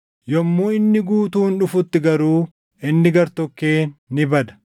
yommuu inni guutuun dhufutti garuu inni gartokkeen ni bada.